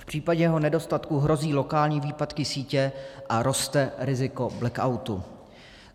V případě jeho nedostatku hrozí lokální výpadky sítě a roste riziko blackoutu.